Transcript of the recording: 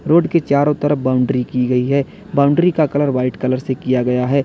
Road के चारों तरफ बाउंड्री की गई है बाउंड्री का कलर वाइट कलर से किया गया है।